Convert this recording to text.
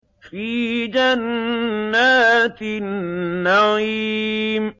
فِي جَنَّاتِ النَّعِيمِ